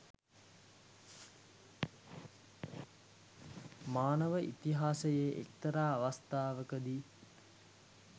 මානව ඉතිහාසයේ එක්තරා අවස්ථාවකදී